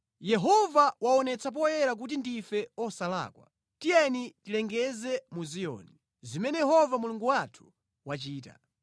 “ ‘Yehova waonetsa poyera kuti ndife osalakwa; tiyeni tilengeze mu Ziyoni zimene Yehova Mulungu wathu wachita.’